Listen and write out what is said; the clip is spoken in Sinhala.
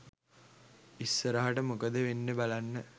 ඉස්සරහට මොකද වෙන්නෙ බලන්න.